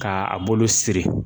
K'a bolo siri